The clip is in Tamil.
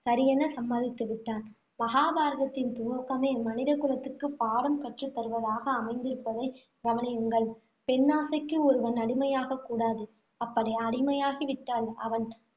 சரியென சம்மதித்து விட்டான் மகாபாரதத்தின் துவக்கமே மனிதகுலத்துக்கு பாடம் கற்றுத்தருவதாக அமைந்திருப்பதை கவனியுங்கள். பெண்ணாசைக்கு ஒருவன் அடிமையாகக் கூடாது. அப்படி அடிமையாகி விட்டால், அவன்